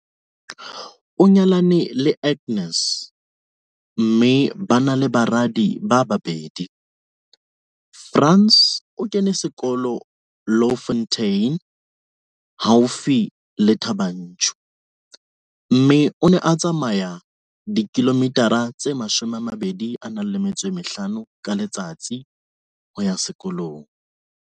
O nyalane le Agnes, mme ba na le baradi ba babedi. Frans o kene sekolo Louwfontein haufi le Thaba Nchu, mme o ne a tsamaya 25 km ka letsatsi ho ya sekolong.